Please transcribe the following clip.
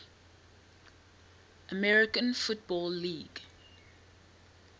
american football league